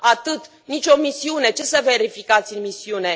Atât, nicio misiune. Ce să verificați în misiune?